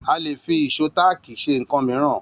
A lè fi ìṣó táákì ṣe nkan mìíràn